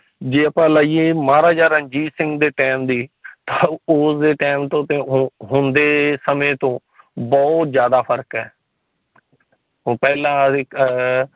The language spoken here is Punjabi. ਜੇ ਆਪਾ ਲਾਈਏ ਮਹਾਰਾਜਾ ਰਣਜੀਤ ਸਿੰਘ ਦੇ time ਦੀ ਤਾ ਉਸ ਦੇ time ਤੇ ਹੁਣ ਦੇ ਸਮੇ ਤੋਂ ਬਹੁਤ ਜਿਆਦਾ ਫ਼ਰਕ ਹੈ। ਉਹ ਪਹਿਲਾਂ ਏਕ ਆ